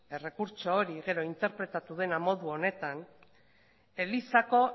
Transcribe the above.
errekurtso hori gero interpretatu dena modu honetan elizako